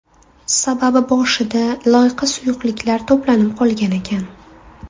Sababi boshida loyqa suyuqliklar to‘planib qolgan ekan.